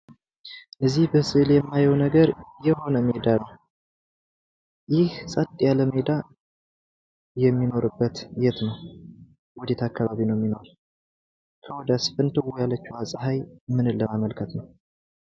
እዚህ በስእሉ የማየው ነገር የሆነ ሜዳ ነው። ይህ ፀጥ ያለ ሜዳ የሚኖርበት የት ነው? ወዴት አካባቢ ነው የሚኖር? ከወዲያስ ፍንትው ያለችው ፀሐይ ምን ለማመልከት ነው?